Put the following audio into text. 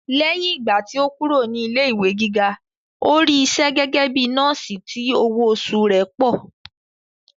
Lẹ́yìn ìgbà tí ó kúrò ní ilé ìwé gíga, ó rí isẹ́ gẹ́gẹ́ bíi nọ́ọ̀sì tí owó oṣù rẹ̀ pọ̀